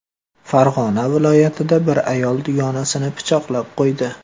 Farg‘ona viloyatida bir ayol dugonasini pichoqlab qo‘ydi.